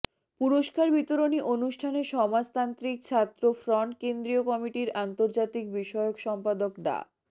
পুরস্কার বিতরণী অনুষ্ঠানে সমাজতান্ত্রিক ছাত্র ফ্রন্ট কেন্দ্রীয় কমিটির আন্তর্জাতিক বিষয়ক সম্পাদক ডা